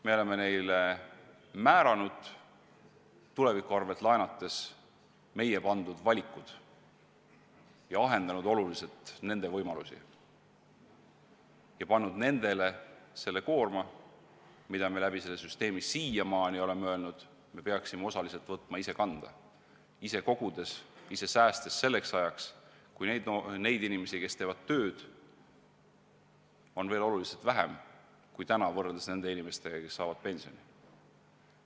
Me oleme neile määranud tuleviku arvel laenates meie pandud valikud, ahendanud oluliselt nende võimalusi ja pannud nendele selle koorma, mida me selle süsteemiga – siiamaani oleme seda öelnud – peaksime osaliselt võtma enda kanda, ise kogudes, ise säästes selleks ajaks, kui neid inimesi, kes teevad tööd, on veel oluliselt vähem kui täna, võrreldes nende inimestega, kes saavad pensioni.